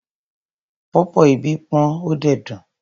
Pọ̀pọ́ ibí pọ́n ó dẹ̀ dùn.